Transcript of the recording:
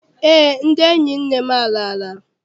Eé, ndị enyi nne m alala.